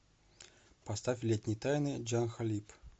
поставь летние тайны джа халиб